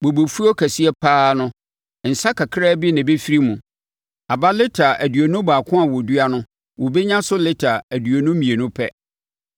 Bobefuo kɛseɛ pa ara no nsã kakra bi na ɛbɛfiri mu. Aba lita aduonu baako a wɔdua no wɔbɛnya so lita aduonu mmienu pɛ.”